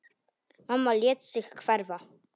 Mamma lét sig hverfa.